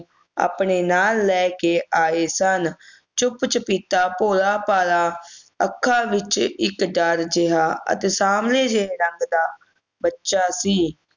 ਆਪਣੇ ਨਾਲ ਲੈਕੇ ਆਏ ਸਨ ਚੁੱਪ ਚੁਪੀਤਾ ਭੋਲਾ ਭਾਲਾ ਅੱਖਾਂ ਵਿਚ ਇਕ ਡਰ ਜਿਹਾ ਅਤੇ ਸਾਂਵਲੇ ਜਿਹੇ ਰੰਗ ਦਾ ਬੱਚਾ ਸੀ